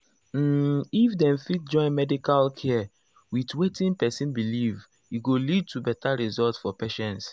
um if dem fit join medical care with wetin person believe e go lead to better result for patients.